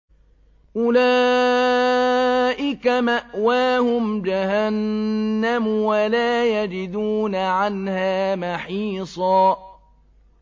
أُولَٰئِكَ مَأْوَاهُمْ جَهَنَّمُ وَلَا يَجِدُونَ عَنْهَا مَحِيصًا